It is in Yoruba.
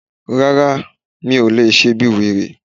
Rárá, mi ò lè ṣe bíi wèrè